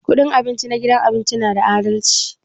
Kudin abinci na gidan abinci na da adalci?